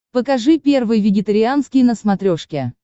покажи первый вегетарианский на смотрешке